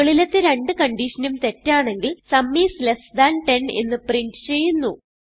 മുകളിലത്തെ രണ്ട് കൺഡിഷനും തെറ്റാണെങ്കിൽ സും ഐഎസ് ലെസ് താൻ 10 എന്ന് പ്രിന്റ് ചെയ്യുന്നു